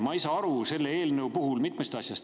Ma ei saa aru selle eelnõu puhul mitmest asjast.